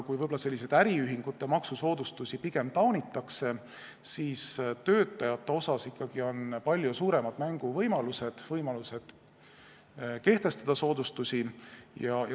Kui äriühingute maksusoodustusi pigem taunitakse, siis töötajate puhul on ikkagi palju suuremad võimalused soodustusi kehtestada.